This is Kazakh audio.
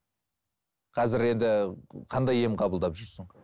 қазір енді қандай ем қабылдап жүрсің